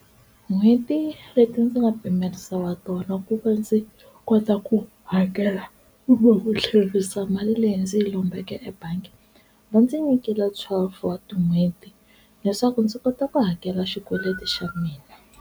N'hweti leti ndzi nga pimerisiwa tona ku va ndzi kota ku hakela kumbe ku tlherisa mali leyi ndzi yi lombeke ebangi va ndzi nyikela twelve wa tin'hweti leswaku ndzi kota ku hakela xikweleti xa mina.